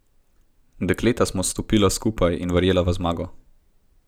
Dekleta smo stopila skupaj in verjela v zmago.